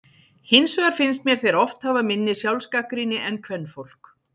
Hins vegar finnst mér þeir oft hafa minni sjálfsgagnrýni en kvenfólk.